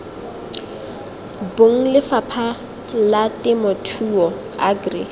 bong lefapha la temothuo agri